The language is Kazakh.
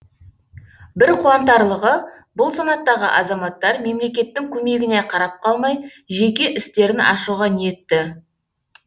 бір қуантарлығы бұл санаттағы азаматтар мемлекеттің көмегіне қарап қалмай жеке істерін ашуға ниетті